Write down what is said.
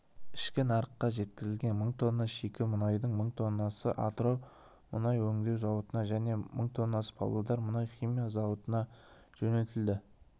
ішкі нарыққа жеткізген мың тонна шикі мұнайдың мың тоннасы атырау мұнай өңдеу зауытына және мың тоннасы павлодар мұнай-химия зауытына жөнелтілді